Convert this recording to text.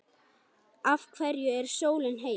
Af hverju er sólin heit?